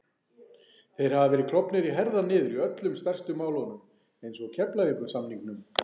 Þeir hafa verið klofnir í herðar niður í öllum stærstu málunum eins og Keflavíkursamningnum